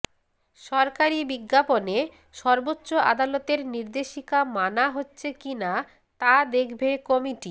সরকারি বিজ্ঞাপনে সর্বোচ্চ আদালতের নির্দেশিকা মানা হচ্ছে কিনা তা দেখবে কমিটি